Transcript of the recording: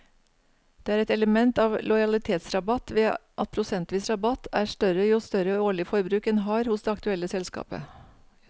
Det er et element av lojalitetsrabatt ved at prosentvis rabatt er større jo større årlig forbruk en har hos det aktuelle selskapet.